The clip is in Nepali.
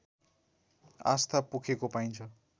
आस्था पोखेको पाइन्छ